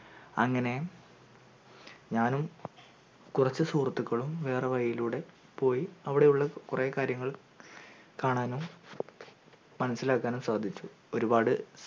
അങ്ങനെ ഞാനും കൊറച്ചു സുഹൃത്തുക്കളും വേറെ വഴീലുടെ പോയി അവിടെയുള്ള കൊറേ കാര്യങ്ങൾ കാണാനും മനസ്സിലാകാനും സാധിച്ചു ഒരുപാട്